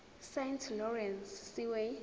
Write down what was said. saint lawrence seaway